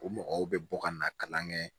O mɔgɔw bɛ bɔ ka na kalan kɛ